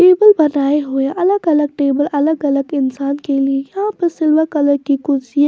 table बनाए हुए अलग अलग टेबल अलग अलग इंसान के लिए यहाँ पर सिल्वर कलर की कुर्सी --